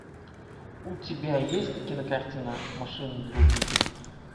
у тебя есть кинокартина машина для убийств